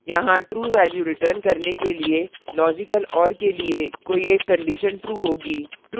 यहाँ true value return करने के लिए logical or के लिए कोई एक conditions true होगी